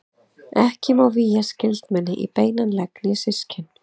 Ekki má vígja skyldmenni í beinan legg né systkin.